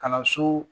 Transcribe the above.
Kalanso